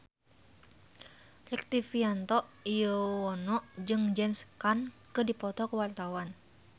Rektivianto Yoewono jeung James Caan keur dipoto ku wartawan